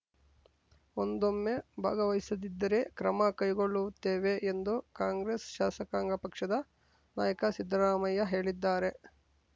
ಒಂದೊಮ್ಮೆ ಭಾಗವಹಿಸದಿದ್ದರೆ ಕ್ರಮ ಕೈಗೊಳ್ಳುತ್ತೇವೆ ಎಂದು ಕಾಂಗ್ರೆಸ್‌ ಶಾಸಕಾಂಗ ಪಕ್ಷದ ನಾಯಕ ಸಿದ್ದರಾಮಯ್ಯ ಹೇಳಿದ್ದಾರೆ